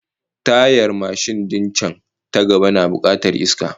Tayar mashin din can ta gaba tana bukatar iska